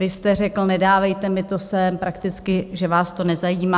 Vy jste řekl "nedávejte mi to sem", prakticky že vás to nezajímá.